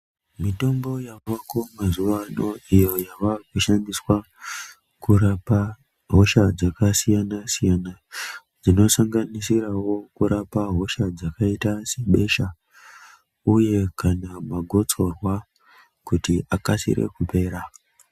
Mitombo yavako mazuvado iyo yavakushandiswa kurapa hosha dzakasiyana siyana dzinosanganisirawo kurapawo hosha dzakaitawo sebeshe uyu kana magotsorwa kuti akasire kupera.